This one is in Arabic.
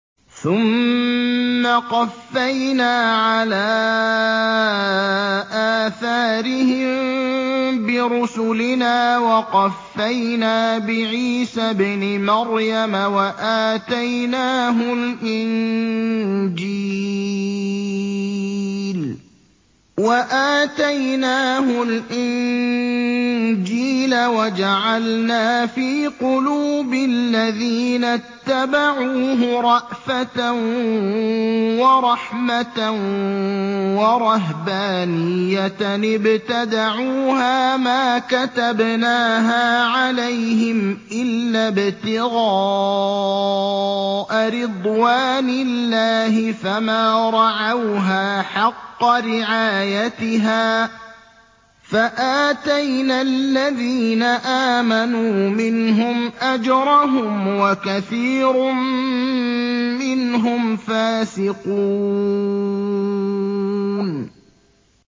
ثُمَّ قَفَّيْنَا عَلَىٰ آثَارِهِم بِرُسُلِنَا وَقَفَّيْنَا بِعِيسَى ابْنِ مَرْيَمَ وَآتَيْنَاهُ الْإِنجِيلَ وَجَعَلْنَا فِي قُلُوبِ الَّذِينَ اتَّبَعُوهُ رَأْفَةً وَرَحْمَةً وَرَهْبَانِيَّةً ابْتَدَعُوهَا مَا كَتَبْنَاهَا عَلَيْهِمْ إِلَّا ابْتِغَاءَ رِضْوَانِ اللَّهِ فَمَا رَعَوْهَا حَقَّ رِعَايَتِهَا ۖ فَآتَيْنَا الَّذِينَ آمَنُوا مِنْهُمْ أَجْرَهُمْ ۖ وَكَثِيرٌ مِّنْهُمْ فَاسِقُونَ